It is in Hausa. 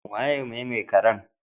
Waye ne mai karan?